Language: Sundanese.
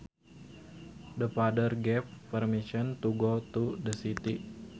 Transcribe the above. The father gave permission to go to the city